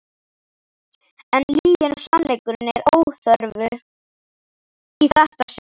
En lygin og sannleikurinn eru óþörf í þetta sinn.